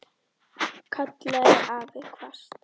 kallaði afi hvasst.